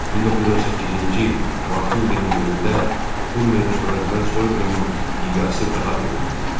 1918-ci il martın 21-də Urmiyada törədilən soyqırımın miqyası daha böyük idi.